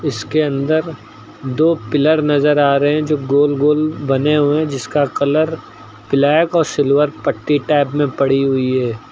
जिसके अंदर दो पिलर नजर आ रहे हैं जो गोल गोल बने हुए हैं जिसका कलर ब्लैक और सिल्वर पट्टी टाइप में पड़ी हुई है।